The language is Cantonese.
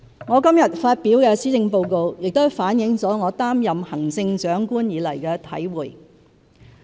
我今天發表的施政報告亦反映了我擔任行政長官以來的體會。